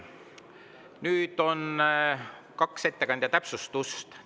Nüüd on kaks ettekandja täpsustust.